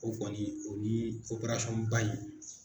O kɔni o ni operasɔn ba in.